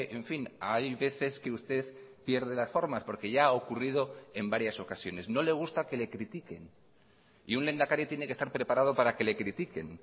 en fin hay veces que usted pierde las formas porque ya ha ocurrido en varias ocasiones no le gusta que le critiquen y un lehendakari tiene que estar preparado para que le critiquen